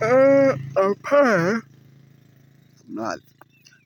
Hapaa